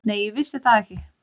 Nei, ég vissi það ekki.